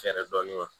Fɛɛrɛ dɔɔnin